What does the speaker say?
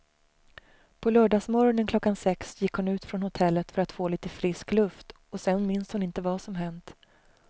På lördagsmorgonen klockan sex gick hon ut från hotellet för att få lite frisk luft och sen minns hon inte vad som hänt.